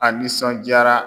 A nisɔnjaara.